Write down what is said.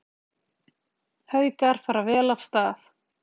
Haukar fara vel af stað